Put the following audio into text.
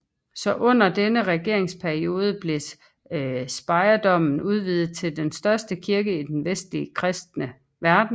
Så under denne regeringsperiode blev Speyerdomen udvidet til den største kirke i den vestlige kristne verden